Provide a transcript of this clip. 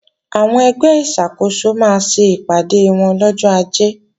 Àwọn ẹgbẹ́ ìṣàkóso máa ṣe ìpàdé wọn lọ́jọ́ Ajé